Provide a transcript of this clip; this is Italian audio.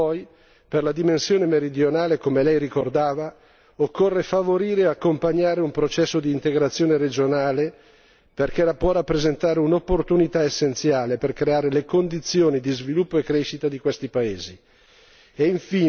Particolarmente poi per la dimensione meridionale, come Lei ricordava, occorre favorire e accompagnare un processo d'integrazione regionale perché può rappresentare un'opportunità essenziale per creare le condizioni di sviluppo e crescita di questi paesi.